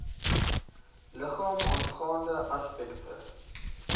liggame aangaande aspekte